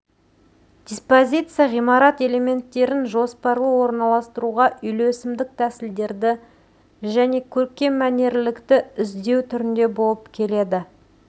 диспозиция ғимарат элементтерін жоспарлы орнастыру үйлесімдік тәсілдерді және көркем мәнерлілікті іздеу түрінде болып келеді